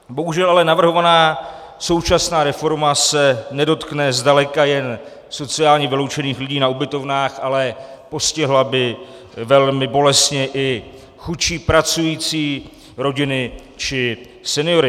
Bohužel ale navrhovaná současná reforma se nedotkne zdaleka jen sociálně vyloučených lidí na ubytovnách, ale postihla by velmi bolestně i chudší pracující, rodiny či seniory.